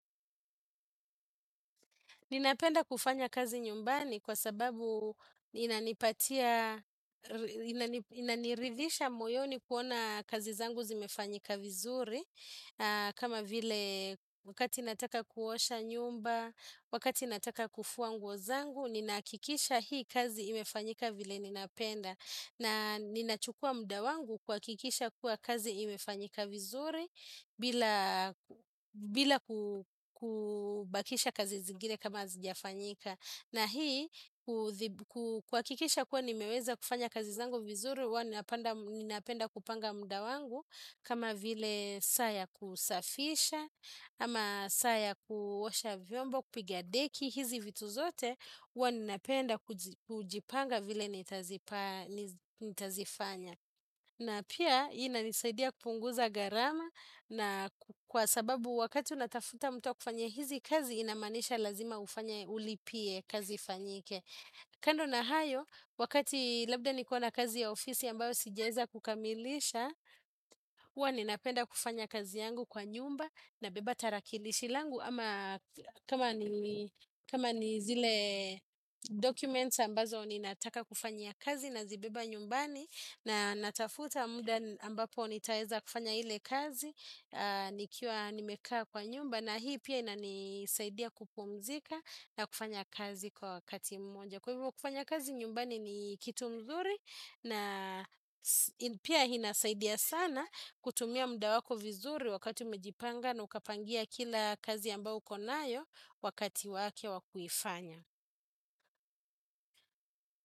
Ninapenda kufanya kazi nyumbani kwa sababu inanipatia, inaniridhisha moyoni kuona kazi zangu zimefanyika vizuri. Kama vile wakati nataka kuosha nyumba, wakati nataka kufua nguo zangu, ninahakikisha hii kazi imefanyika vile ninapenda. Na ninachukua muda wangu kuhakikisha kuwa kazi imefanyika vizuri bila kubakisha kazi zingine kama hazijafanyika. Na hii kuhakikisha kuwa nimeweza kufanya kazi zangu vizuri huwa ninapenda kupanga muda wangu kama vile saa ya kusafisha ama saa ya kuosha vyombo kupiga deki hizi vitu zote huwa ninapenda kujipanga vile nitazifanya. Na pia inanisaidia kupunguza gharama na kwa sababu wakati unatafuta mtu wa kufanya hizi kazi inamanisha lazima ufanya ulipie kazi fanyike. Kando na hayo wakati labda niko na kazi ya ofisi ambayo sijaeza kukamilisha huwa ninapenda kufanya kazi yangu kwa nyumba nabeba tarakilishi langu. Ama kama ni zile documents ambazo ni nataka kufanyia kazi na zibeba nyumbani. Na natafuta muda ambapo ni taeza kufanya hile kazi. Nikiwa nimekaa kwa nyumba na hii pia ina nisaidia kupumzika na kufanya kazi kwa wakati mmoja. Kwa hivyo kufanya kazi nyumbani ni kitu mzuri. Na pia hinasaidia sana kutumia muda wako vizuri wakati umejipanga na ukapangia kila kazi ambao uko nayo wakati wake wakuifanya.